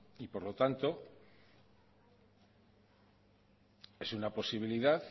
y por lo tanto es una posibilidad